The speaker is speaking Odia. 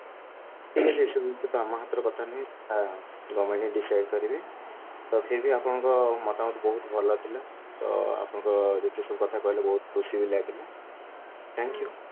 ଠିକ ଅଛି ସେଇଟା ତ ଆମ ହାତର କଥା ନୁହଁ ସେଇଟା decide କରିବେ ଆଉ ତଥାବି ଆପଣଙ୍କ ମତାମତ ବହୁତ ଭଲ ଥିଲା ତ ଆପଣ ଯେତେ ସବୁ କଥା କହିଲେ ବହୁତ ଖୁସି ବି ଲାଗିଲା thank you